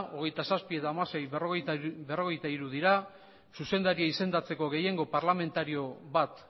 hogeita zazpi edo hamasei berrogeita hiru dira zuzendaria izendatzeko gehiengo parlamentario bat